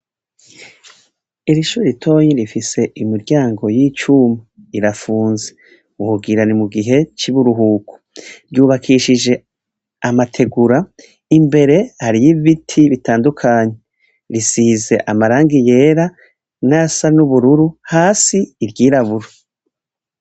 Irishure ritoya rifise imiryango y'icuma rirafunze, wogira nimugihe c'uburuhuko ryubakishije amategura imbere hariyo ibiti bitandukanye, bisize amarangi yera n'ayasa n'ubururu hasi iryirabura.